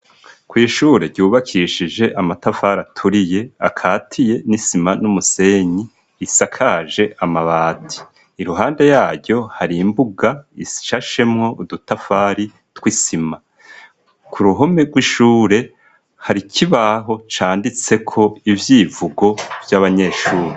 Kw' ishure ryubakishije amatafari aturiye akatiye n'isima n'umusenyi isakaje amabati; iruhande yaryo hari imbuga ishashemwo udutafari tw'isima. Ku ruhome rw'ishure hari kibaho canditseko ivyivugo vy'abanyeshure